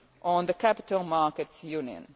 on the Capital Markets Union.